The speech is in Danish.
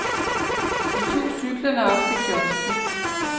Vi tog cyklerne op til kiosken.